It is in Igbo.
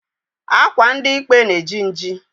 Akwa ndi ikpe na-eji nji.